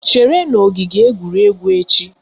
Chere n'ogige egwuregwu echi!